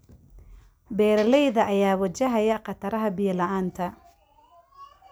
Beeralayda ayaa wajahaya khataraha biyo la�aanta.